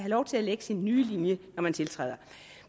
lov til at lægge sin nye linje når man tiltræder